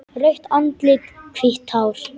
Rautt andlit, hvítt hár.